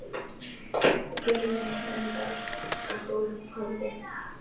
Þú gerðir meira en dást að góðu holdi.